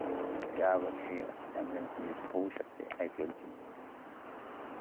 या वर्षी champions म्हणजे होऊ शकते. IPL ची